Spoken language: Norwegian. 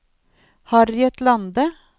Harriet Lande